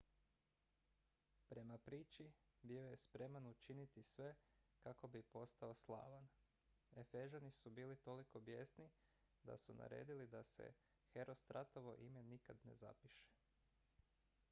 prema priči bio je spreman učiniti sve kako bi postao slavan efežani su bili toliko bijesni da su naredili da se herostratovo ime nikad ne zapiše